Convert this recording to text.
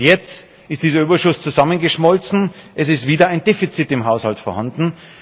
Jetzt ist dieser Überschuss zusammengeschmolzen, es ist wieder ein Defizit im Haushalt vorhanden.